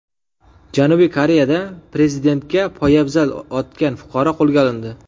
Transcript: Janubiy Koreyada prezidentga poyabzal otgan fuqaro qo‘lga olindi.